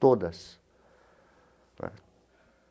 Todas tá.